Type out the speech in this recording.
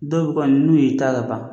Dɔw kɔni n'u y'i ta ka ban